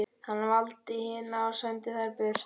Hann valdi hina og sendi þær burt.